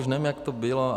Už nevím, jak to bylo.